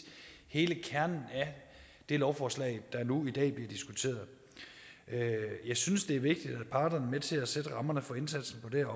hele kernen af det lovforslag der nu i dag bliver diskuteret jeg synes det er vigtigt at parterne er med til at sætte rammer for indsatsen på det